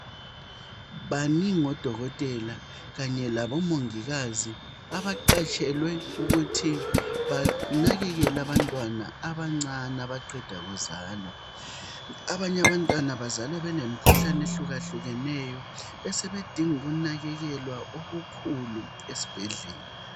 Baningi oDokotela kanye labomongikazi abaqashelwe ukuthi banakekele abantwana abancane abaqeda kuzalwa. Abanye abantwana bazalwa benemkhuhlane ehlukahlukeneyo besebedinga ukunakekelwa okukhulu esibhedlela.